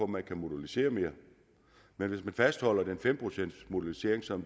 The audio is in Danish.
man kan modulisere mere men hvis man fastholder den fem procentsmodulisering som